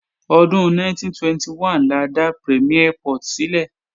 Ọdún 1921 la dá Premiere Port sílẹ̀